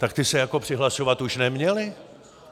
Tak ti se jako přihlašovat už neměli?